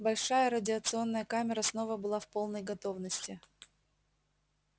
большая радиационная камера снова была в полной готовности